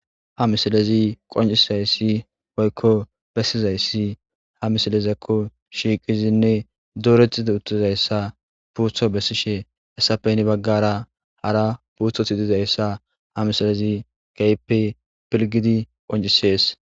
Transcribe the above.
ha misilezi qoncizayssi woykko bessizayssi ha misilezakko shiiqizinne duretida uttizayssa puutho bessishe esapeyni baggara hara puutho tidizayssa ha misilezi keype pilgidi qoncisees